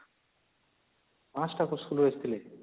୫ଟା school ରୁ ଆସିଥିଲେ